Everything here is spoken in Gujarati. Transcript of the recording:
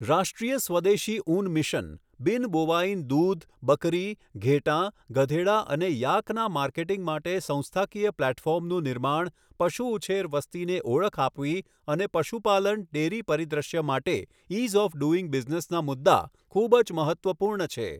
રાષ્ટ્રીય સ્વદેશી ઊન મિશન, બિન બોવાઇન દૂધ બકરી, ઘેટાં, ગધેડા અને યાકના માર્કેટિંગ માટે સંસ્થાકીય પ્લેટફોર્મનું નિર્માણ, પશુ ઉછેર વસ્તીને ઓળખ આપવી અને પશુપાલન ડેરી પરિદૃશ્ય માટે ઇઝ ઓફ ડુઇંગ બિઝનેસના મુદ્દા ખૂબ જ મહત્ત્વપૂર્ણ છે.